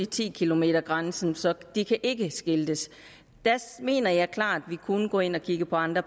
ti kilometers grænsen så der kan ikke skiltes der mener jeg klart vi kunne gå ind og kigge på andre